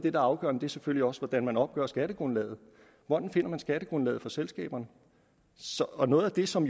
er afgørende selvfølgelig også er hvordan man opgør skattegrundlaget hvordan finder man skattegrundlaget for selskaberne og noget af det som